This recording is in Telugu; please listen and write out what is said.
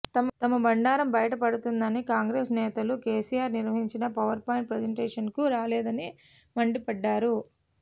తమ బండారం బయటపడుతుందని కాంగ్రెస్ నేతలు కెసిఆర్ నిర్వహించిన పవర్పాయింట్ ప్రజెంటేషన్కు రాలేదని మండిపడ్డారు